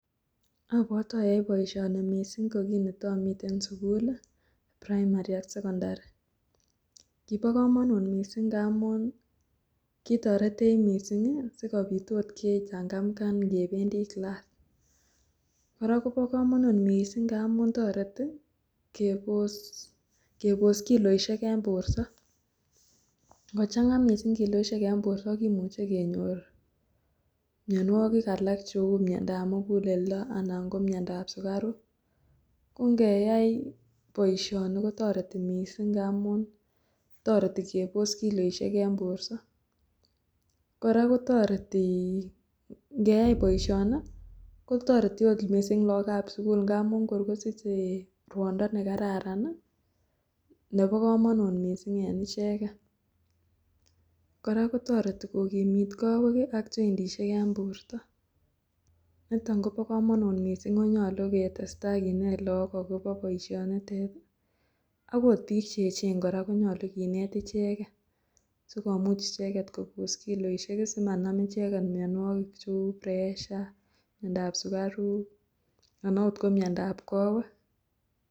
Abwote oyoe boishoni mising ko kin itomi sukul primary ak sekondari, kibokomonut mising ng'amun kitoretech mising asikobit ot kechang'amkan kebendi class, kora kobokomonut amun toreti kebos kiloishek en borto, ng'ochang'a mising kiloishek mising en borto kimuche kenyor mionwokik alak cheu miondab mukuleldo anan ko miondab sukaruk ko ng'eyai boishoni kotoreti mising ng'amun toreti kebos kiloishek en borto, kora kotoreti ng'eyai boishoni kotoreti oot mising lookab sukul ng'amun kor kosiche rwondo nekararan nebokomonut mising en icheket, kora kotoreti kokimit kowek ak jointishek en borto, niton kobokomonut mising ak konyolu ketesta kinet look akobo boishonitet akot biik cheechen kora konyolu kinet icheket sikomuch icheket kobos kiloishek simanam icheket mionwokik cheu pressure miondab sukaruk anan ko oot miondab kowek.